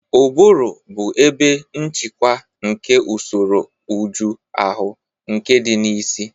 Ụbụrụ bụ ebe nchịkwa nke usoro ụjọ ahụ, nke dị na isi.